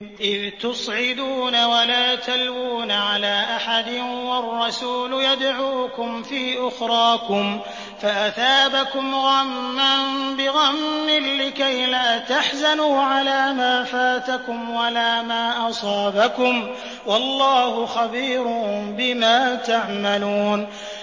۞ إِذْ تُصْعِدُونَ وَلَا تَلْوُونَ عَلَىٰ أَحَدٍ وَالرَّسُولُ يَدْعُوكُمْ فِي أُخْرَاكُمْ فَأَثَابَكُمْ غَمًّا بِغَمٍّ لِّكَيْلَا تَحْزَنُوا عَلَىٰ مَا فَاتَكُمْ وَلَا مَا أَصَابَكُمْ ۗ وَاللَّهُ خَبِيرٌ بِمَا تَعْمَلُونَ